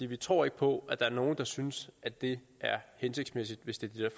vi tror ikke på at der er nogen der synes at det er hensigtsmæssigt hvis det er